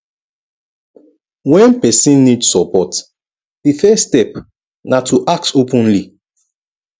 when person need support di first step na to ask openly